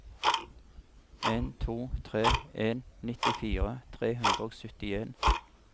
en to tre en nittifire tre hundre og syttien